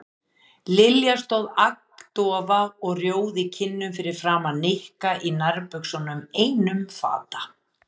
Lilja stóð agndofa og rjóð í kinnum fyrir framan Nikka í nærbuxunum einum fata.